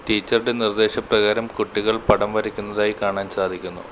ടീച്ചറുടെ നിർദ്ദേശപ്രകാരം കുട്ടികൾ പടം വരയ്ക്കുന്നതായി കാണാൻ സാധിക്കുന്നു.